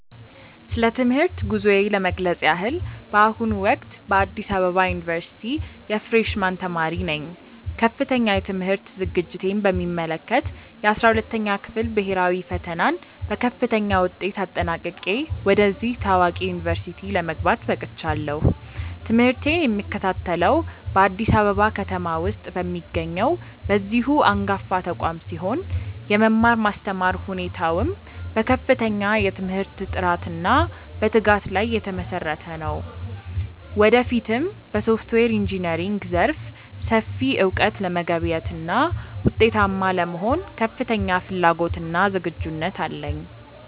ስለ ትምህርት ጉዞዬ ለመግለጽ ያህል፣ በአሁኑ ወቅት በአዲስ አበባ ዩኒቨርሲቲ የፍሬሽ ማን ተማሪ ነኝ። ከፍተኛ የትምህርት ዝግጅቴን በሚመለከት፣ የ12ኛ ክፍል ብሄራዊ ፈተናን በከፍተኛ ውጤት አጠናቅቄ ወደዚህ ታዋቂ ዩኒቨርሲቲ ለመግባት በቅቻለሁ። ትምህርቴን የምከታተለው በአዲስ አበባ ከተማ ውስጥ በሚገኘው በዚሁ አንጋፋ ተቋም ሲሆን፣ የመማር ማስተማር ሁኔታውም በከፍተኛ የትምህርት ጥራትና በትጋት ላይ የተመሰረተ ነው። ወደፊትም በሶፍትዌር ኢንጂነሪንግ ዘርፍ ሰፊ እውቀት ለመገብየትና ውጤታማ ለመሆን ከፍተኛ ፍላጎትና ዝግጁነት አለኝ።